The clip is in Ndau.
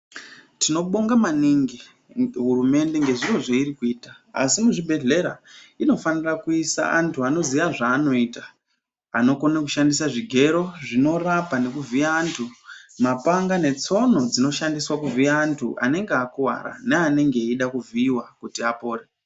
Tinobonga maningi hurumende ngezviro zvairi kuita. Asi muzvibhedlera inofanira kuisa antu anoziya zvaanoita. Anokone kushandisa zvigero zvinorapa nekuvhiya antu, mapanga netsono dzinoshandiswa kuvhiya antu anenge akuvara neanenge eida kuvhiiwa kuti apore.